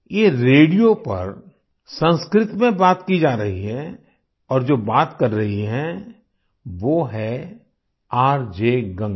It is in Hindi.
ये रेडियो पर संस्कृत में बात की जा रही है और जो बात कर रही हैं वो हैं आरजे गंगा